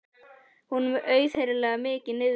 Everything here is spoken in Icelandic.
Honum er auðheyrilega mikið niðri fyrir.